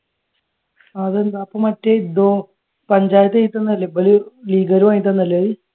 അതെന്താ മറ്റേ ഇതോ പഞ്ചായത്ത് എഴുതി തന്നത് അല്ലെ ഇപ്പൊ ഇത് ലീഗാര്